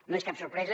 no és cap sorpresa